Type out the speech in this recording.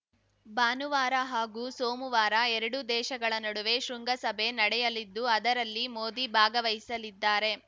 ಭಾನುವಾರ ಹಾಗೂ ಸೋಮುವಾರ ಎರಡೂ ದೇಶಗಳ ನಡುವೆ ಶೃಂಗಸಭೆ ನಡೆಯಲಿದ್ದು ಅದರಲ್ಲಿ ಮೋದಿ ಭಾಗವಹಿಸಲಿದ್ದಾರೆ